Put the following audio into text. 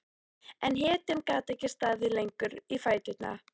En hetjan gat ekki staðið lengur í fæturna.